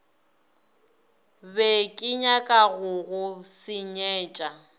be kenyaka go go senyetša